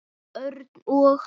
Örn og